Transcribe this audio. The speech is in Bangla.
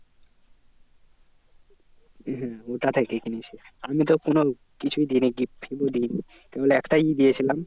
হ্যাঁ ওটা থেকেই কিনেছে আমি কোনো কিছুই দিনই gift দিইনি। তা বলে একটাই দিয়েছিলাম